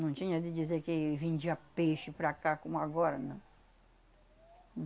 Não tinha de dizer que vendia peixe para cá como agora, não.